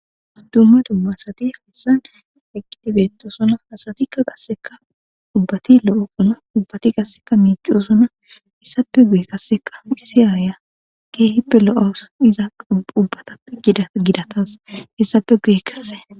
Dumme dumma asati hassan eqqitibettosona hasatikka qasseka ubbati lo'o kona ubbati qasseka miiciosona issape guye kasseka issi aaya keehippe lo'os iza ubbatappe dgidatas issape guye kasse.